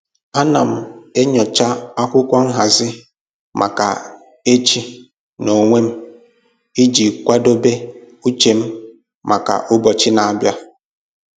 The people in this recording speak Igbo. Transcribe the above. Ana m enyocha akwụkwọ nhazi maka echi n'onwe m iji kwadebe uche m maka ụbọchị na-abịa